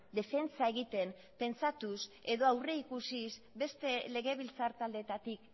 defentsa egiten pentsatuz edo aurrikusiz beste legebiltzar taldeetatik